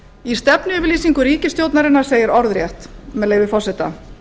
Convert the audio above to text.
í stefnuyfirlýsingu ríkisstjórnarinnar segir orðrétt með leyfi forseta